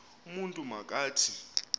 umntu ma kathi